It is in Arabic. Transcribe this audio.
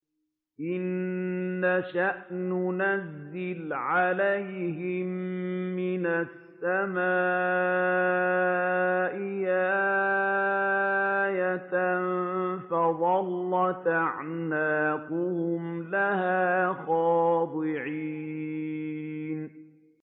إِن نَّشَأْ نُنَزِّلْ عَلَيْهِم مِّنَ السَّمَاءِ آيَةً فَظَلَّتْ أَعْنَاقُهُمْ لَهَا خَاضِعِينَ